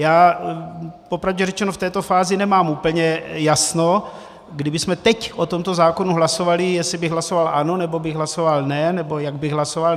Já popravdě řečeno v této fázi nemám úplně jasno, kdybychom teď o tomto zákonu hlasovali, jestli bych hlasoval ano, nebo bych hlasoval ne, nebo jak bych hlasoval.